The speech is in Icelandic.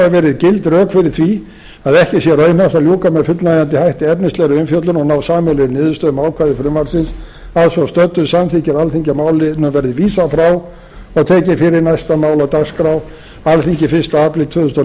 rök fyrir því að ekki sé raunhæft að ljúka með fullnægjandi hætti efnislegri umfjöllun og ná sameiginlegri niðurstöðu um ákvæði frumvarpsins að svo stöddu samþykkir alþingi að málinu verði vísað frá og tekið fyrir næsta mál á dagskrá alþingi fyrsti apríl tvö þúsund og